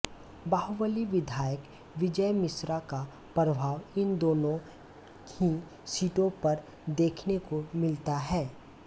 बाहुबलि विधायक विजय मिश्रा का प्रभाव इन दोनों ही सीटों पर देखने को मिलता है